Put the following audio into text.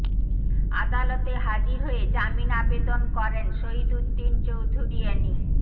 আদালতে হাজির হয়ে জামিন আবেদন করেন শহীদ উদ্দিন চৌধুরী এ্যানী